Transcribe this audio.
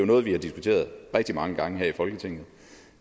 noget vi har diskuteret rigtig mange gange her i folketinget